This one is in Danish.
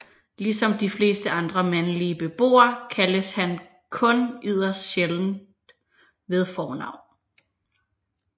Ligesom de fleste andre mandlige beboere kaldes han kun yderst sjældent ved fornavn